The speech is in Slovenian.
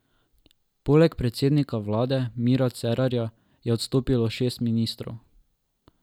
Poleg predsednika vlade Mira Cerarja je odstopilo šest ministrov.